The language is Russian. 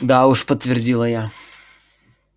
да уж подтвердила я